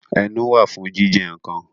Ẹnu wà fún jíjẹ nǹkan